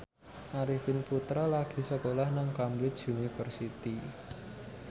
Arifin Putra lagi sekolah nang Cambridge University